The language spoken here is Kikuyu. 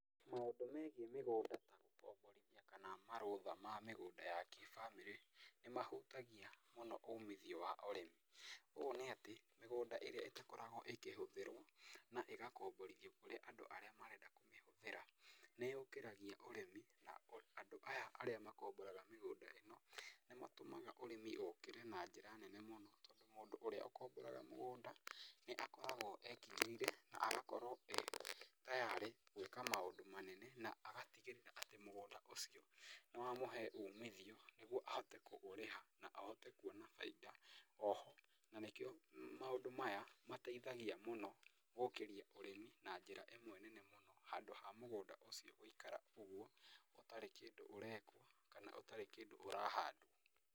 Maũndũ megiĩ mĩgũnda ta gũkomborithia kana marũtha ma mĩgũnda ya kĩbamĩrĩ, nĩ mahutagia mũno umithio wa ũrĩmi. Ũũ nĩ atĩ mĩgũnda ĩrĩa ĩtakoragwo ĩkĩhũthĩrwo na ĩgakomborithio kũrĩ andũ arĩa marenda kũmĩhũthĩra, nĩ yũkĩragia ũrĩmi na andũ aya arĩa makomboraga mĩgũnda ĩno nĩ matũmaga ũrĩmi ũkĩre na njĩra nene mũno, tondũ mũndũ ũrĩa ũkomboraga mũgũnda nĩ akoragwo ekinyĩire na agakorwo e tayarĩ gwĩka maũndũ manene na agatigĩrĩra atĩ mũgũnda ũcio nĩ wamũhee umithio nĩguo ahote kũũrĩha na ahote kuona bainda oho. Na nĩ kĩo maũndũ maya mateithagia mũno gũũkĩria ũrĩmi na njĩra ĩmwe nene mũno, handũ ha mũgũnda ũcio gũikara ũguo ũtarĩ kĩndũ ũrekwo kana ũtarĩ kĩndũ ũrahandwo.